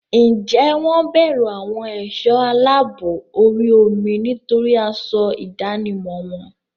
Ǹjẹ́ wọ́n bẹ̀rù àwọn ẹ̀sọ́ aláàbò orí omi nítorí aṣọ ìdánimọ̀ wọn?